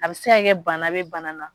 A bɛ se ka kɛ bana bɛ bana na.